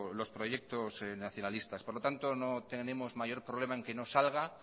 los proyectos nacionalistas por lo tanto no tendremos mayor problema en que no salga